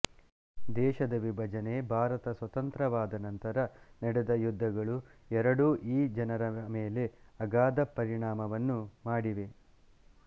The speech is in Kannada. ದೇಶದ ವಿಭಜನೆ ಭಾರತ ಸ್ವತಂತ್ರವಾದ ನಂತರ ನಡೆದ ಯುದ್ಧಗಳುಎರಡೂ ಈ ಜನರ ಮೇಲೆ ಅಗಾಧ ಪರಿಣಾಮವನ್ನು ಮಾಡಿವೆ